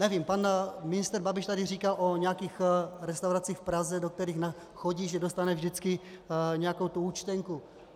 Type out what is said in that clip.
Nevím, pan ministr Babiš tady říkal o nějakých restauracích v Praze, do kterých chodí, že dostane vždycky nějakou tu účtenku.